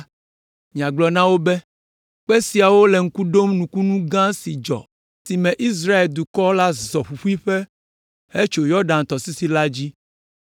miagblɔ na wo be kpe siawo le ŋku ɖom nukunu gã si dzɔ esime Israel dukɔ la zɔ ƒuƒuiƒe hetso Yɔdan tɔsisi la dzi!